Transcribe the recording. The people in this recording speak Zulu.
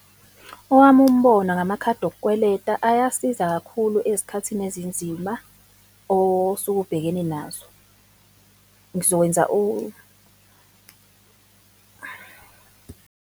Owami umbono ngamakhadi okukweleta, ayasiza kakhulu ezikhathini ezinzima osuke ubhekene nazo. Ngizokwenza .